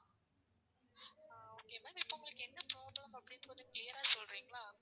ஆஹ் okay ma'am இப்போ உங்களுக்கு என்ன problem அப்படின்னு கொஞ்சம் clear ஆ சொல்றீங்களா